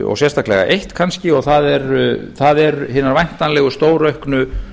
og sérstaklega eitt kannski og það eru hinar væntanlegu stórauknu